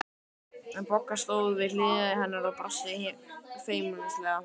Bogga stóð við hlið hennar og brosti feimnislega.